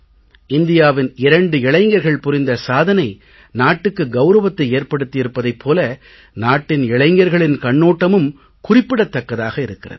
இந்தியாவின் இரண்டு இளைஞர்கள் புரிந்த சாதனை நாட்டுக்கு கௌரவத்தை ஏற்படுத்தி இருப்பதைப் போல நாட்டின் இளைஞர்களின் கண்ணோட்டமும் குறிப்பிடத் தக்கதாக இருக்கிறது